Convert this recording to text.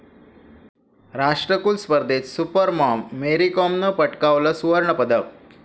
राष्ट्रकुल स्पर्धेत 'super mom, Mary कॉम'नं पटकावलं सुवर्णपदक